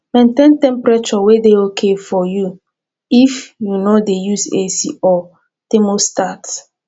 maintain temperature wey dey okay for you if you dey use ac or thermostat